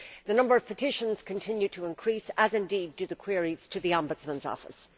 The number of petitions continues to increase, as indeed do the queries to the Ombudsman's Office.